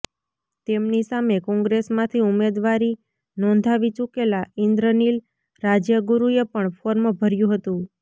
તેમની સામે કોંગ્રેસમાંથી ઉમેદવારી નોંધાવી ચૂકેલા ઈન્દ્રનીલ રાજ્યગુરૂએ પણ ફોર્મ ભર્યું હતું